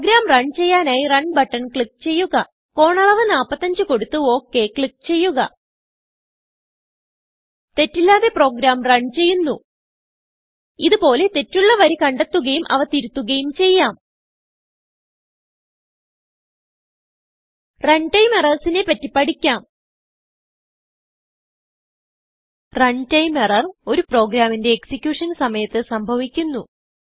programme run ചെയ്യാനായി run button click ചെയ്യുക കോണളവ് 45 കൊടുത്ത്ok ക്ലിക്ക് ചെയ്യുക തെറ്റില്ലാതെ പ്രോഗ്രാം റൺ ചെയ്യുന്നു ഇത് പോലെ തെറ്റുള്ള വരി കണ്ടെത്തുകയും അവ തിരുത്തുകയും ചെയ്യാം റണ് ടൈം എറർസ് നെ പറ്റി പഠിക്കാം റണ് ടൈം എറർ ഒരു പ്രോഗ്രാമിന്റെ executionസമയത്ത് സംഭവിക്കുന്നു